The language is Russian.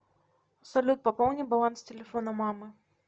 салют пополни баланс телефона мамы